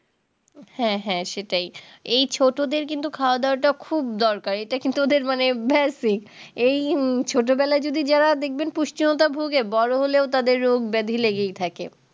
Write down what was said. হ্যাঁ হ্যাঁ সেটাই এই ছোটোদের কিন্তু খাওয়া দাওয়া টা খুব দরকার এটা কিন্তু ওদের মানে ব্যাসই এই ছোটবেলায় যদি যারা দেখবেন পুষ্টিহীনতায় ভুগে বড়ো হলেও তাদের রোগ ব্যাধি লেগেই থাকে